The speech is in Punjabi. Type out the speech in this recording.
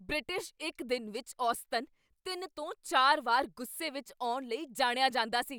ਬ੍ਰਿਟਿਸ਼ ਇੱਕ ਦਿਨ ਵਿੱਚ ਔਸਤਨ ਤਿੰਨ ਤੋਂ ਚਾਰ ਵਾਰ ਗੁੱਸੇ ਵਿੱਚ ਆਉਣ ਲਈ ਜਾਣਿਆ ਜਾਂਦਾ ਸੀ